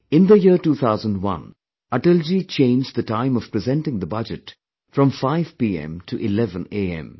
In the year 2001, Atalji changed the time of presenting the budget from 5 pm to 11 am